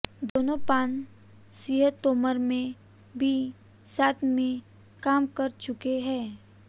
दोनों पान सिंह तोमर में भी साथ में काम कर चुके हैं